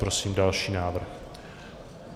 Prosím další návrh.